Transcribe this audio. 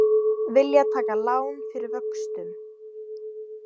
Vilja taka lán fyrir vöxtum